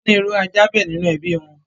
Wọ́n ní irú ajá bẹ́ẹ̀ nínú ẹbí wọn